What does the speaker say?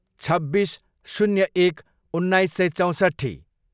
छब्बिस, शून्य एक, उन्नाइस सय चौँसट्ठी